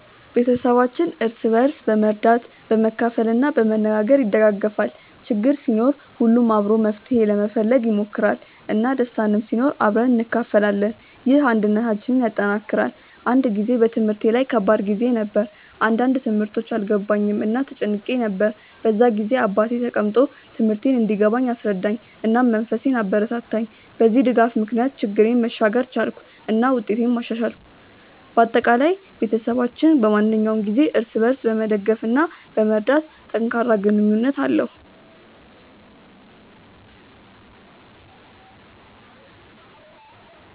ቤተሰባችን እርስ በርስ በመርዳት፣ በመካፈል እና በመነጋገር ይደጋገፋል። ችግር ሲኖር ሁሉም አብሮ መፍትሄ ለመፈለግ ይሞክራል፣ እና ደስታም ሲኖር አብረን እንካፈላለን። ይህ አንድነታችንን ያጠናክራል። አንድ ጊዜ በትምህርቴ ላይ ከባድ ጊዜ ነበር፣ አንዳንድ ትምህርቶች አልገባኝም እና ተጨንቄ ነበር። በዚያ ጊዜ አባቴ ተቀምጦ ትምህርቴን እንዲገባኝ አስረዳኝ፣ እና መንፈሴን አበረታታኝ። በዚህ ድጋፍ ምክንያት ችግሬን መሻገር ቻልኩ እና ውጤቴንም አሻሻልኩ። በአጠቃላይ፣ ቤተሰባችን በማንኛውም ጊዜ እርስ በርስ በመደገፍ እና በመርዳት ጠንካራ ግንኙነት አለው።